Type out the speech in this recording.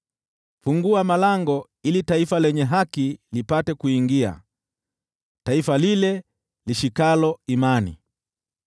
Fungua malango ili taifa lenye haki lipate kuingia, taifa lile lidumishalo imani.